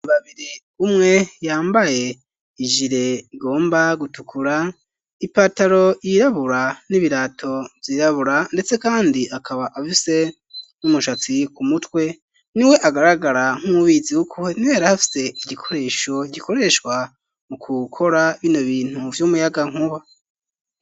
Babiri umwe yambaye ijire igomba gutukura ipataro yirabura n'ibirato vyirabura ndetse kandi akaba abise n'umushatsi ku mutwe niwe agaragara nk'ubizi kuko niwe yarafise igikoresho gikoreshwa mu kukora bino bintu vy'umuyagankuba